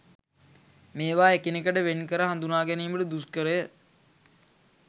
මේවා එකිනෙකට වෙන් කර හඳුනා ගැනීමට දුෂ්කරය.